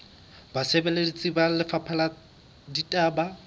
basebeletsi ba lefapha la ditaba